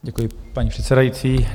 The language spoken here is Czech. Děkuji, paní předsedající.